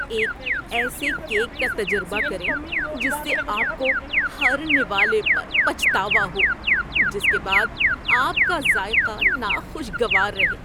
ایک ایسے کیک کا تجربہ کریں جس سے آپ کو ہر نوالے پر پچھتاوا ہو، جس کے بعد آپ کا ذائقہ ناخوشگوار رہے